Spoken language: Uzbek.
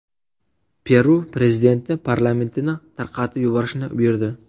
Peru prezidenti parlamentini tarqatib yuborishni buyurdi.